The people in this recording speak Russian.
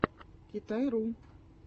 китай ру